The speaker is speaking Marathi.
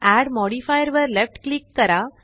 एड मॉडिफायर वर लेफ्ट क्लिक करा